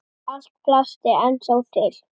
Allt plast er ennþá til.